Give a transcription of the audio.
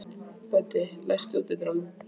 Böddi, læstu útidyrunum.